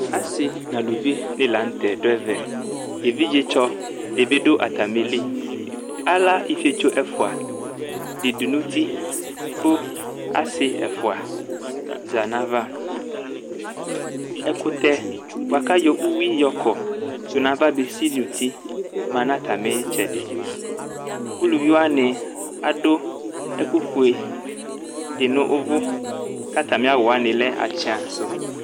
Asi n' aluvi dini la n'tɛ du ɛvɛ, evidzetsɔ di bi du atami li, ála ifietso ɛvua di du n'uti ku asi ɛvua za n'ava ɛkutɛ bua ku ayɔ uwi y'ɔkɔ tù n'ava besi n'uti ma nu atami tsɛdi, uluviwa ni adu ɛku fue di nu uvú, k'atami awúwa ni lɛ àtsã sŭ